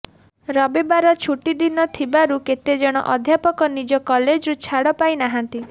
ରବିବାର ଛୁଟି ଦିନ ଥିବାରୁ କେତେଜଣ ଅଧ୍ୟାପକ ନିଜ କଲେଜରୁ ଛାଡ଼ ପାଇ ନାହାନ୍ତି